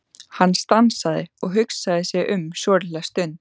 Hann stansaði og hugsaði sig um svolitla stund.